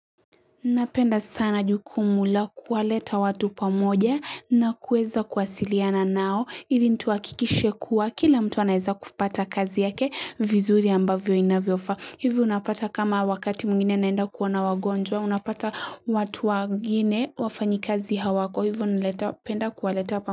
Napenda sana jukumu la kuwaleta watu pamoja na kuweza kuwasiliana nao ili ni tuhakikishe kuwa kila mtu anaeza kupata kazi yake vizuri ambavyo inavyofaa Hivyo unapata kama wakati mwingine naenda kuona wagonjwa, unapata watu wagine wafanyikazi hawako Hivyo nleta penda kuwaleta pamoja.